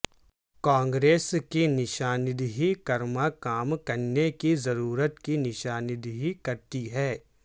کانگریس کی نشاندہی کرما کام کرنے کی ضرورت کی نشاندہی کرتی ہے